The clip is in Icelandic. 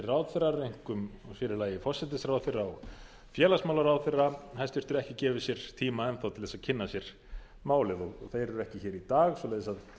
ráðherrar og einkum og sér í lagi forsætisráðherra og félagsmálaráðherra hæstvirtur ekki gefið sér tíma enn þá til þess að kynna sér málið þeir eru ekki hér í dag svoleiðis að